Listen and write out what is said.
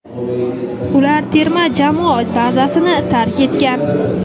Ular terma jamoa bazasini tark etgan;.